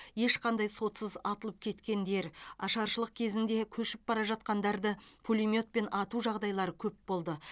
ешқандай сотсыз атылып кеткендер ашаршылық кезінде көшіп бара жатқандарды пулеметпен ату жағдайлары көп болды